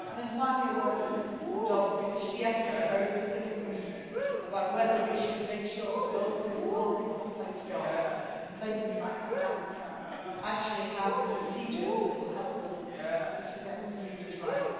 Finally, a word for Mrs Dodds because she asked me a very specific question about whether we should make sure that those doing lonely, complex jobs in places like Afghanistan actually have the procedures that will help them and that we should get the procedures right.